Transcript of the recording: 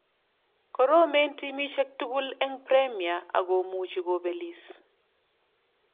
"Koromen timisiek tugul eng Premia akomuchi kobelis .